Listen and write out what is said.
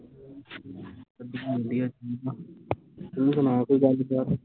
ਵਧੀਆ ਵਧੀਆ ਠੀਕ ਆ ਤੂੰ ਸੁਣਾ ਕੋਈ ਗੱਲ ਬਾਤ